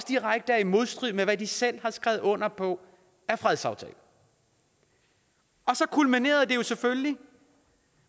direkte modstrid med hvad man selv har skrevet under på af fredsaftaler og så kulminerede det selvfølgelig